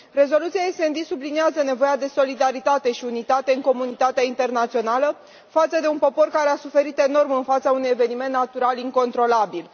Rezoluția SD subliniază nevoia de solidaritate și unitate în comunitatea internațională, față de un popor care a suferit enorm în fața unui eveniment natural incontrolabil.